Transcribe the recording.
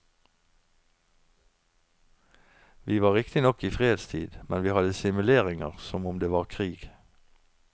Vi var riktignok i fredstid, men vi hadde simuleringer som om det var krig.